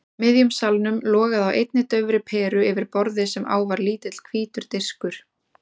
miðjum salnum logaði á einni daufri peru yfir borði sem á var lítill hvítur diskur.